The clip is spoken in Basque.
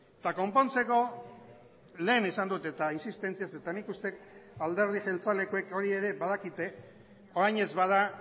eta konpontzeko lehen esan dut eta intsistentziaz eta nik uste dut alderdi jeltzalekoek hori ere badakite orain ez bada